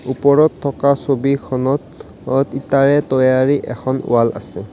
ওপৰত থকা ছবিখনত অ ইটাৰে তৈয়াৰী এখন ওৱাল আছে।